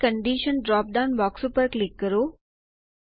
હવે condition drop down box ઉપર click કરો